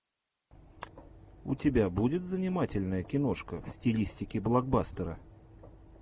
у тебя будет занимательная киношка в стилистике блокбастера